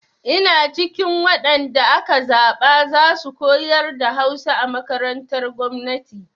Ina cikin waɗan da aka zaɓa za su koyar da Hausa a makarantar gwamnati.